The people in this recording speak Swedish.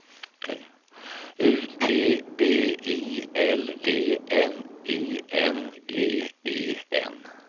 U T B I L D N I N G E N